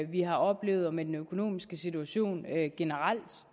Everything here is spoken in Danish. vi har oplevet og med den økonomiske situation generelt